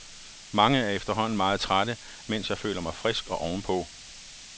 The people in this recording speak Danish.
Mange er efterhånden meget trætte, mens jeg føler mig frisk og ovenpå.